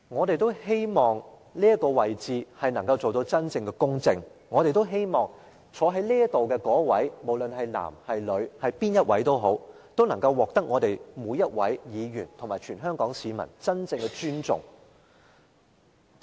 主席，我們都希望這個角色能夠做到真正的公正，希望坐在這個位置的人，無論是男是女是誰都好，能夠獲得每位議員及全香港市民真正的尊重。